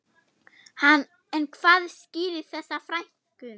En hvað skýrir þessa fækkun?